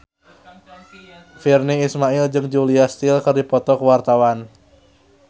Virnie Ismail jeung Julia Stiles keur dipoto ku wartawan